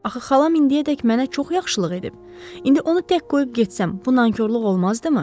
Axı xalam indiyədək mənə çox yaxşılıq edib, indi onu tək qoyub getsəm, bu nankorluq olmazdımı?